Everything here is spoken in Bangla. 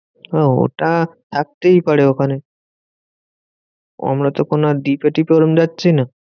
হ্যাঁ ওটা থাকতেই পারে ওখানে। আমরা তো আর কোনো দ্বীপে টিপে ওরম যাচ্ছি না।